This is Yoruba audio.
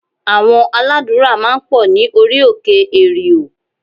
Àwọn aládùúrà máa ń pọ̀ ní orí òkè èrìò